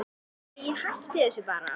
Æi, hættu þessu bara.